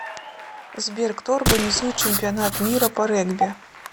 сбер кто организует чемпионат мира по регби